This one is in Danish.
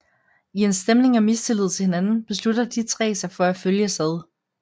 I en stemning af mistillid til hinanden beslutter de tre sig for at følges ad